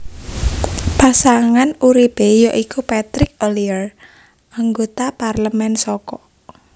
Pasangan uripe ya iku Patrick Ollier anggota parlemen saka